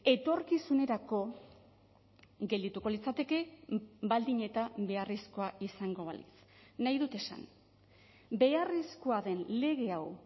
etorkizunerako geldituko litzateke baldin eta beharrezkoa izango balitz nahi dut esan beharrezkoa den lege hau